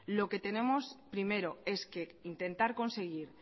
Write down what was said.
lo que tenemos primero es que intentar conseguir